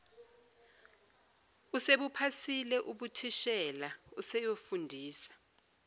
usebuphasile ubuthishela useyofundisa